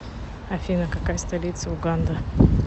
афина какая столица уганда